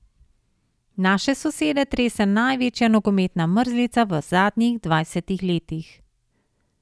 Naše sosede trese največja nogometna mrzlica v zadnjih dvajsetih letih.